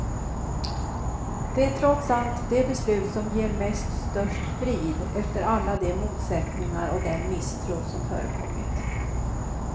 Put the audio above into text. Det är trots allt det beslut som ger mest och störst frid, efter alla de motsättningar och den misstro som förekommit.